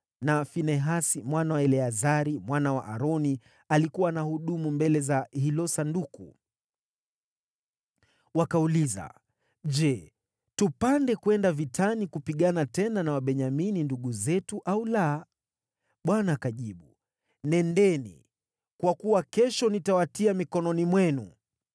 na Finehasi mwana wa Eleazari, mwana wa Aroni, alikuwa anahudumu mbele za hilo Sanduku.) Wakauliza, “Je, tupande kwenda vitani kupigana tena na Wabenyamini ndugu zetu, au la?” Bwana akajibu, “Nendeni, kwa kuwa kesho nitawatia mikononi mwenu.”